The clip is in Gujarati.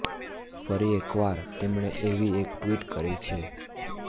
ફરી એક વાર તેમણે એવી એક ટ્વિટ કરી છે